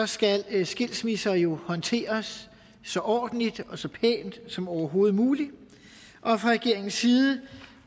skal skilsmisser jo håndteres så ordentligt og så pænt som overhovedet muligt og fra regeringens side